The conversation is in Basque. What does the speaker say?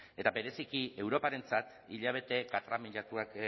eta bereziki europarentzat hilabete katramilatuak